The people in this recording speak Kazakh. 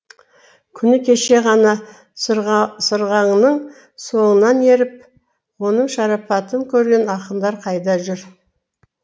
күні кеше ғана сырағаңның соңынан еріп оның шарапатын көрген ақындар қайда жүр